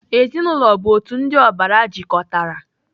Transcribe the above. Ezinaụlọ bụ otu ndị ọbara jikọtara.